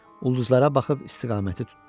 Ulduzlara baxıb istiqaməti tutdu.